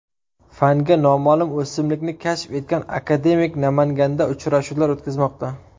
Fanga noma’lum o‘simlikni kashf etgan akademik Namanganda uchrashuvlar o‘tkazmoqda.